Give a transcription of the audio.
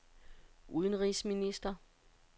udenrigsminister